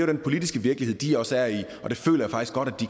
den politiske virkelighed de også er i og det føler